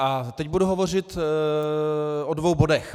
A teď budu hovořit o dvou bodech.